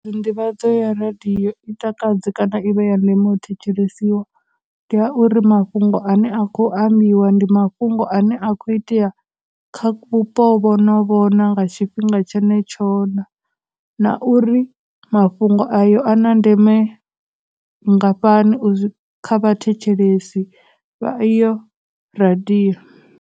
Nḓivhadzo ya radiyo i takadze kana i vhe ya ndeme u thetshelesiwa, ndi ya uri mafhungo ane a khou ambiwa ndi mafhungo ane a khou itea kha vhupo vhono vho na, nga tshifhinga tshenetsho na, na uri mafhungo ayo a na ndeme vhungafhani u , kha vhathetshelesi vha iyo radio.